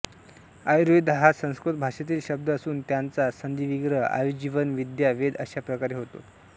आयुर्वेद हा संस्कृत भाषेतील शब्द असून त्याचा संधिविग्रह आयुः जीवन विद्या वेद अशाप्रकारे होतो